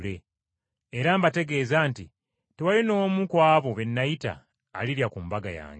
Era mbategeeza nti tewali n’omu ku abo be nayita alirya ku mbaga yange.’ ”